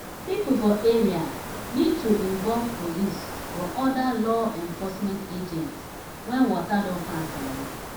pipo for area need to involve police or oda law enforcement agents when water don pass garri